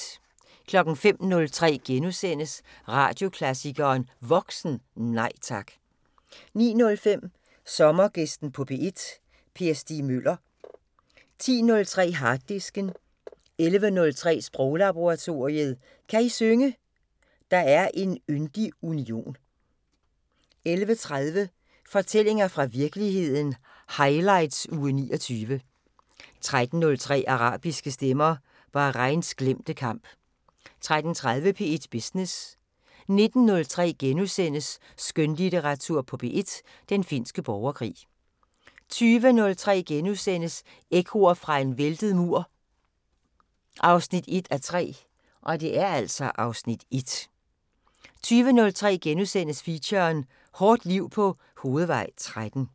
05:03: Radioklassikeren: Voksen – Nej tak! * 09:05: Sommergæsten på P1: Per Stig Møller 10:03: Harddisken 11:03: Sproglaboratoriet: Kan I synge: Der er en yndig union? 11:30: Fortællinger fra virkeligheden – highlights uge 29 13:03: Arabiske stemmer: Bahrains glemte kamp 13:30: P1 Business 19:03: Skønlitteratur på P1: Den finske borgerkrig * 20:03: Ekkoer fra en væltet mur 1:3 (Afs. 1)* 21:03: Feature: Hårdt liv på Hovedvej 13 *